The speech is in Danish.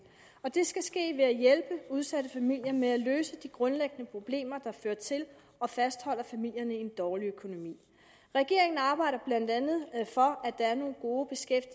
og det skal ske ved at hjælpe udsatte familier med at løse de grundlæggende problemer der fører til og fastholder familierne i en dårlig økonomi regeringen arbejder blandt andet for at der er nogle gode